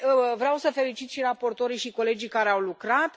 Vreau să felicit și raportorii și colegii care au lucrat.